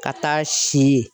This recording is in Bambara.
Ka taa si yen.